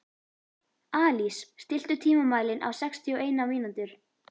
Alís, stilltu tímamælinn á sextíu og eina mínútur.